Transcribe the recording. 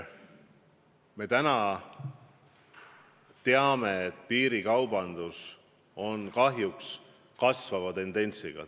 Me teame, et piirikaubandus kahjuks kipub kasvama.